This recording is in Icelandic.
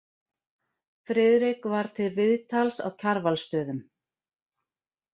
Friðrik var til viðtals á Kjarvalsstöðum.